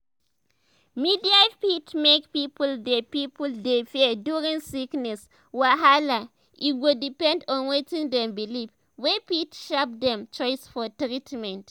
media fit make people dey people dey fear during sickness wahala e go depend on wetin dem believe wey fit shape dem choice for treatment.